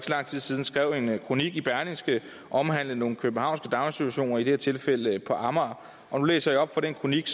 lang tid siden skrev en kronik i berlingske omhandlende nogle københavnske daginstitutioner i det her tilfælde på amager og nu læser jeg op fra den kronik